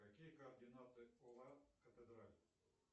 какие координаты